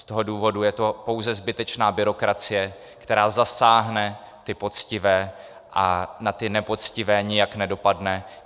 Z toho důvodu je to pouze zbytečná byrokracie, která zasáhne ty poctivé a na ty nepoctivé nijak nedopadne.